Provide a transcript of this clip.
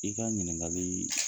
I ka ɲininkali